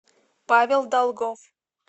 павел долгов